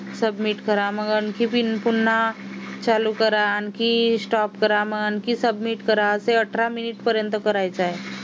submit करा मग आणखी पुन्हा चालू करा आणखी stop करा आणि मग submit करा ते अठरा minute पर्यंत करायचं आहे